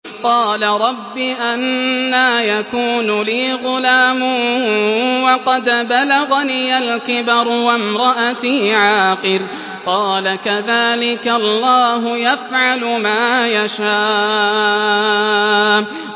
قَالَ رَبِّ أَنَّىٰ يَكُونُ لِي غُلَامٌ وَقَدْ بَلَغَنِيَ الْكِبَرُ وَامْرَأَتِي عَاقِرٌ ۖ قَالَ كَذَٰلِكَ اللَّهُ يَفْعَلُ مَا يَشَاءُ